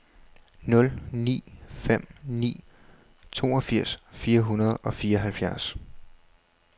nul ni fem ni toogfirs fire hundrede og fireoghalvfjerds